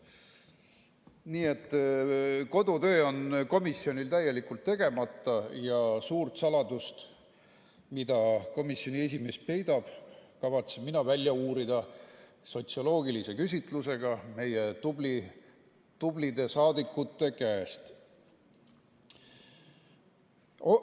Nii et kodutöö on komisjonil täielikult tegemata ja suure saladuse, mida komisjoni esimees peidab, kavatsen mina välja uurida sotsioloogilise küsitlusega meie tublide saadikute käest.